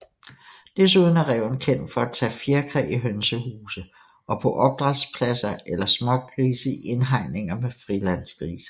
Desuden er ræven kendt for at tage fjerkræ i hønsehuse og på opdrætspladser eller smågrise i indhegninger med frilandsgrise